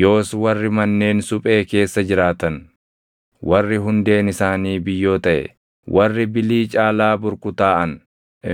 yoos warri manneen suphee keessa jiraatan, warri hundeen isaanii biyyoo taʼe, warri bilii caalaa burkutaaʼan